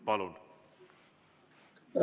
Palun!